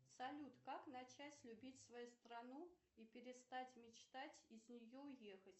салют как начать любить свою страну и перестать мечтать из нее уехать